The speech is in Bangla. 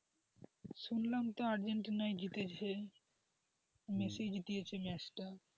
শুনলাম তো আর্জেন্টিনা জিতেছে মেসি জিতিয়েছে ম্যাচটা,